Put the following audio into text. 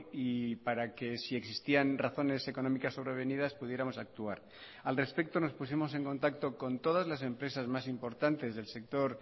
y para que si existían razones económicas sobrevenidas pudiéramos actuar al respecto nos pusimos en contacto con todas las empresas más importantes del sector